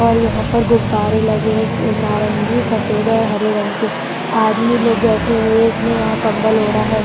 और यहाँ पर गुब्बारे लगे हैं स नारंगी सफेद और हरे रंग के आदमी लोग बैठे हुए एक ने यहाँ कंबल ओड़ा है।